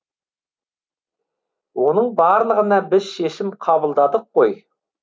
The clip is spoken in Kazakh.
оның барлығына біз шешім қабылдадық қой